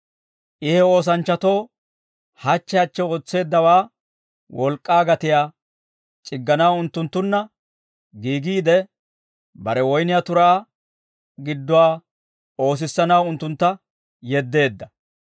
I he oosanchchatoo hachche hachche ootseeddawaa wolk'k'aa gatiyaa c'igganaw unttunttunna giigiide, bare woyniyaa turaa gidduwaa oosissanaw unttuntta yeddeedda.